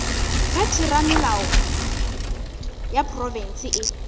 ge theramelao ya profense e